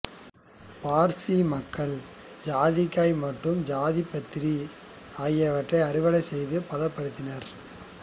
பார்சி மக்கள் சாதிக்காய் மற்றும் ஜாதிபத்திரி ஆகியவற்றை அறுவடை செய்து பதப்படுத்தினர்